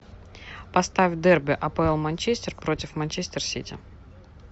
поставь дерби апл манчестер против манчестер сити